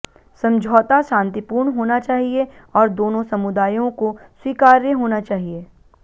समझौता शांतिपूर्ण होना चाहिए और दोनों समुदायों को स्वीकार्य होना चाहिए